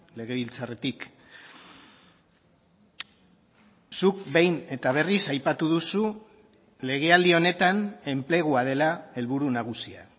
legebiltzarretik zuk behin eta berriz aipatu duzu legealdi honetan enplegua dela helburu nagusia